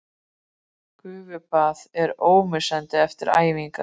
Vilmenhart, lækkaðu í græjunum.